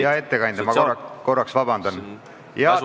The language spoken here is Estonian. Hea ettekandja, vabandust!